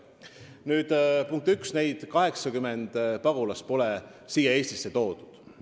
Nüüd, punkt 1: neid 80 pagulast pole Eestisse toodud.